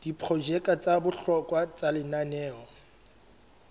diprojeke tsa bohlokwa tsa lenaneo